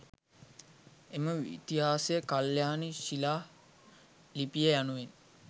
එම ඉතිහාසය කල්‍යාණි ශිලා ලිපිය යනුවෙන්